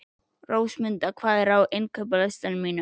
Rósmunda, hvað er á innkaupalistanum mínum?